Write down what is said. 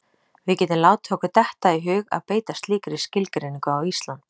Við getum látið okkur detta í hug að beita slíkri skilgreiningu á Ísland.